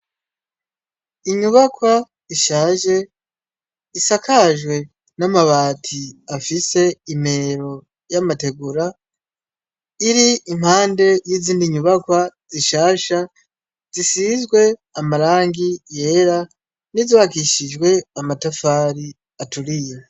Inyubakwa ishaje isakajwe n’amabati afise imero y’amategura, iri impande yizindi nyubakwa zishasha zisizwe amarangi yera n’izubakishijwe amatafari aturiye.